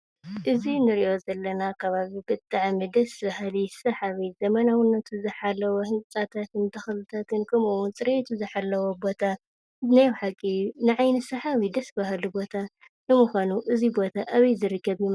እዚ እንሪኦ ዘለና ከባቢ ብጣዕሚ ደስ በሃሊ ሰሓቢ ዘመናውነቱ ዝሓለወ ህንፃን ተኽሊታትን ከምኡ እውን ፅርየቱ ዝሓለወ ቦታ ናይ በሓቂ ንዓይኒ ሰሓቢ ከባቢ ብጣዕሚ ደስ በሃሊ ቦታ እዩ። ንምኻኑ እዚ ቦታ ኣበይ ዝርከብ እዩ?